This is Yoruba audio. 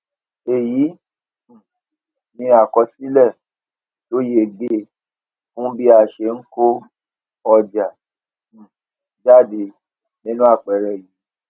èyí um ni àkọsílè tó yege fún bí a ṣe n kó ọjà um jáde nínú àpẹẹrẹ yìí